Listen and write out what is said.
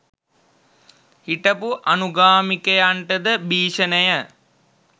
හිටපු අනුගාමිකයන්ටද භිෂණය